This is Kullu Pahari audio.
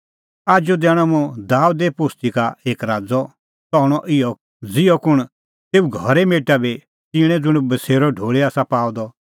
आजू दैणअ मुंह दाबेदे पोस्ती का एक राज़अ सह हणअ इहअ ज़िहअ कुंण तेऊ घरे मेटा भी च़िणें ज़ुंण बसेरअ ढोल़ी आसा पाअ द